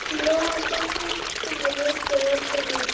Jóhann tók úlpuna og leitaði í öllum vösum.